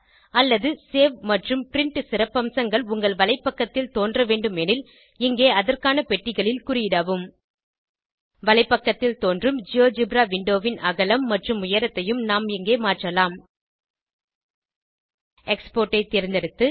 அல்லது சேவ் மற்றும் பிரின்ட் சிறப்பம்சங்கள் உங்கள் வலைப்பக்கத்தில் தோன்றவேண்டுமெனில் இங்கே அதற்கான பெட்டிகளில் குறியிடவும் வலைப்பக்கத்தில் தோன்றும் ஜியோஜெப்ரா விண்டோ ன் அகலம் மற்றும் உயரத்தையும் நாம் இங்கே மாற்றலாம் எக்ஸ்போர்ட் ஐ தேர்ந்தெடுத்து